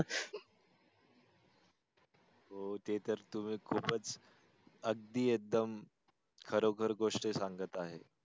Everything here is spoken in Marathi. हो ते तर तुम्ही खूपच अगदी एकदम खरोकर गोष्ट सांगत आहे.